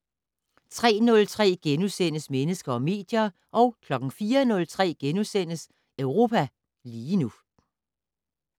03:03: Mennesker og medier * 04:03: Europa lige nu *